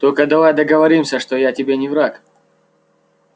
только давай договоримся что я тебе не враг